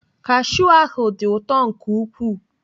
Kashiu ahụ dị ụtọ nke ukwuu.